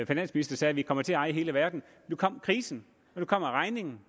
finansminister sagde vi kommer til at eje hele verden nu kom krisen og nu kommer regningen